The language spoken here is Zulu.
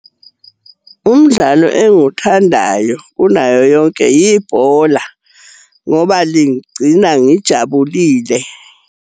Umdlalo engiwuthandayo kunayo yonke ibhola ngoba lingigcina ngijabulile.